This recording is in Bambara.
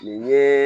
Nin yee